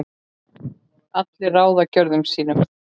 allir ráða gjörðum sín